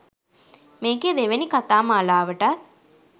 මේකේ දෙවෙනි කතා මාලාවටත්